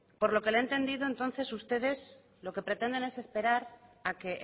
por lo que le he entendido entonces ustedes lo que pretenden es esperar a que